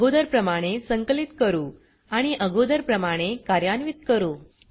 अगोदर प्रमाणे संकलित करू आणि अगोदर प्रमाणे कार्यान्वीत करू